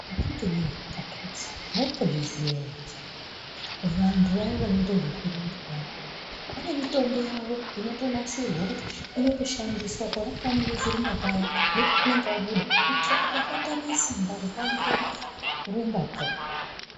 Akatiwe akiti maimbozviziya ere kuti hai vantu vaya vanoite zvekurumba vayane vane mitombo yavo inotonasirwa kuti inotoshandiswa pona pavanenge vechirumba paya nepavanenge vabuda kuitire kuti vasatame simba rekuangire kurumbakwo.